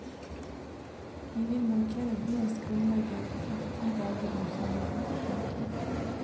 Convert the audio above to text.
Vi vil markere byens grunnlegger i ti dager om sommeren. punktum